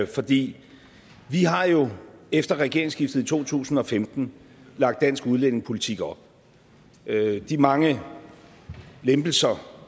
for vi har jo efter regeringsskiftet i to tusind og femten lagt dansk udlændingepolitik om de mange lempelser